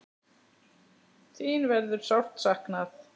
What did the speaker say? Þín verður sárt saknað.